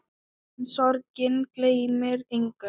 En sorgin gleymir engum.